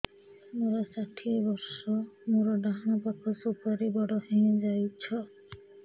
ମୋର ଷାଠିଏ ବର୍ଷ ମୋର ଡାହାଣ ପାଖ ସୁପାରୀ ବଡ ହୈ ଯାଇଛ